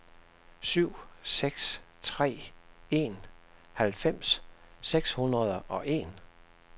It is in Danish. syv seks tre en halvfems seks hundrede og en